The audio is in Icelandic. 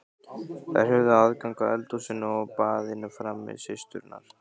Þær höfðu aðgang að eldhúsinu og baðinu frammi, systurnar.